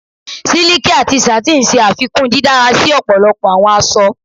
Siliki ati satin ṣe afikun didara si ọpọlọpọ awọn aṣọ